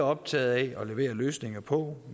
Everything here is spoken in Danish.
optaget af at levere løsninger på